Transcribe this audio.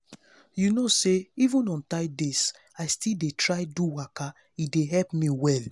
you know say even on tight days i still dey try do waka e dey help me well.